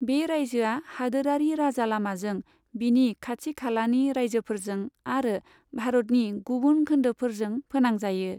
बे रायजोआ हादोरारि राजा लामाजों बिनि खाथि खालानि रायजोफोरजों आरो भारतनि गुबुन खोन्दोफोरजों फोनांजायो।